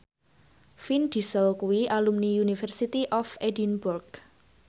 Vin Diesel kuwi alumni University of Edinburgh